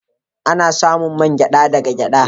Ana samun man gyada daga gyada.